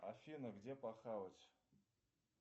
афина где похавать